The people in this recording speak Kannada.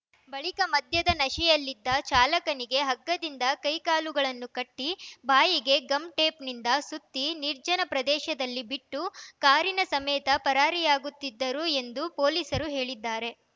ಬಳಿಕ ಮದ್ಯದ ನಶೆಯಲ್ಲಿದ್ದ ಚಾಲಕನಿಗೆ ಹಗ್ಗದಿಂದ ಕೈ ಕಾಲುಗಳನ್ನು ಕಟ್ಟಿ ಬಾಯಿಗೆ ಗಮ್‌ಟೇಪ್‌ನಿಂದ ಸುತ್ತಿ ನಿರ್ಜನ ಪ್ರದೇಶದಲ್ಲಿ ಬಿಟ್ಟು ಕಾರಿನ ಸಮೇತ ಪರಾರಿಯಾಗುತ್ತಿದ್ದರು ಎಂದು ಪೊಲೀಸರು ಹೇಳಿದ್ದಾರೆ